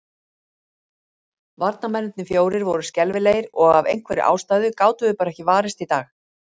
Varnarmennirnir fjórir voru skelfilegir, og af einhverri ástæðu gátum við bara ekki varist í dag.